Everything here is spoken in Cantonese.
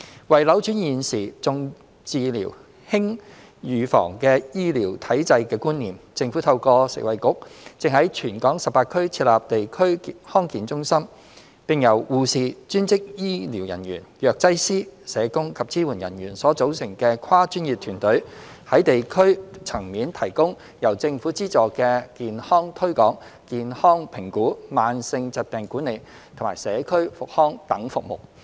為扭轉現時"重治療，輕預防"的醫療體制和觀念，政府透過食衞局正在全港18區設立地區康健中心，並由護士、專職醫療人員、藥劑師、社工及支援人員所組成的跨專業團隊，在地區層面提供由政府資助的健康推廣、健康評估、慢性疾病管理及社區復康等服務。